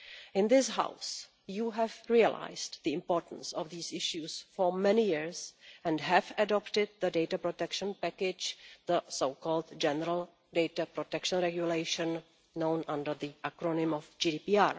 In this House, you have known the importance of these issues for many years and have adopted the data protection package, the so called the General Data Protection Regulation, known under the acronym of GDPR.